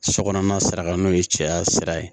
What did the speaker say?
Sokɔnɔna sira kan n'o ye cɛya sira ye